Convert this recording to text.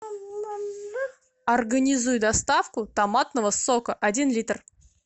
организуй доставку томатного сока один литр